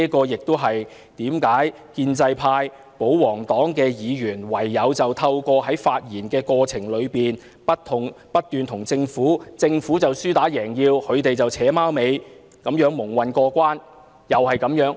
因此，建制派、保皇黨議員只好不斷為政府說項，不斷和政府"扯貓尾"，而政府就"輸打贏要"，就這樣蒙混過關。